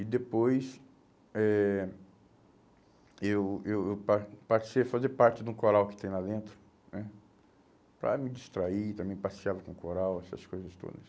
E depois eh eu eu eu pas passei a fazer parte de um coral que tem lá dentro né, para me distrair, também passeava com coral, essas coisas todas.